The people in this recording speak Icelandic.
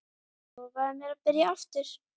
Lofaðu mér að byrja aftur!